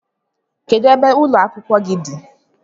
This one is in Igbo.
Kedụ ebe ụlọ akwụkwọ gị dị?